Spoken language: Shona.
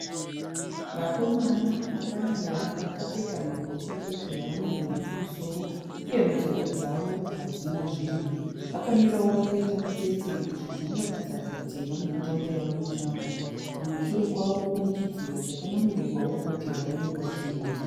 Vakamona vakamira vakapfeka mabhurukwe chete havana nhumbi kumusoro uye mutsoka dzavo havana zvinhu. Vakamira vakaita mutsetse kuratidza kuti vane mutambo wavano kutamba kumashure kwavo kune chidziro chine board rakanyorwa zvinhu.